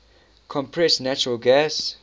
compressed natural gas